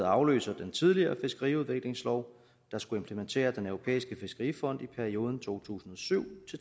afløser den tidligere fiskeriudviklingslov der skulle implementere den europæiske fiskerifond i perioden to tusind og syv